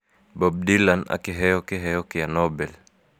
Bob Dylan akĩheo kĩheo kĩa Nobel